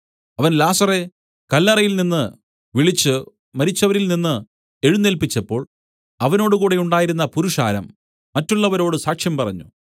അവൻ ലാസറെ കല്ലറയിൽനിന്ന് വിളിച്ചു മരിച്ചവരിൽ നിന്നു എഴുന്നേല്പിച്ചപ്പോൾ അവനോടുകൂടെ ഉണ്ടായിരുന്ന പുരുഷാരം മറ്റുള്ളവരോടു സാക്ഷ്യം പറഞ്ഞു